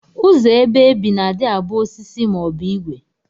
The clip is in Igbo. Ụzọ ebe ebi na adi abu osisi ma obu igwe.